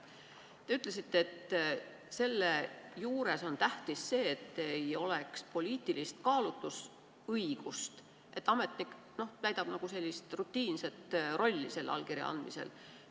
Te ütlesite, et selle juures on tähtis see, et ei oleks poliitilist kaalutlusõigust, ametnik täidab selle allkirja andmisel nagu rutiinset rolli.